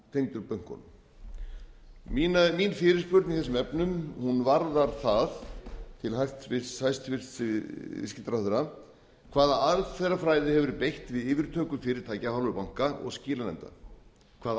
tengdur bönkunum mín fyrirspurn í þessum efnum varðar það til hæstvirtur viðskiptaráðherra hvaða aðferðafræði hefur verið beitt til yfirtöku fyrirtækja af hálfu banka og skilanefnda hvaða